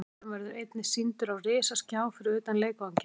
Leikurinn verður einnig sýndur á risaskjá fyrir utan leikvanginn.